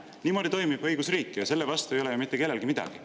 Niimoodi toimib õigusriik ja selle vastu ei ole ju mitte kellelgi midagi.